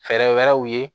Fɛɛrɛ wɛrɛw ye